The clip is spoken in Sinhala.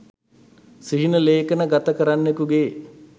සිහින ලේඛන ගත කරන්නකු ගේ